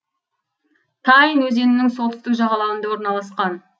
тайн өзенінің солтүстік жағалауында орналасқан